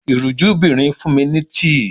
Ìríjúbìnrin fun mi ni tii.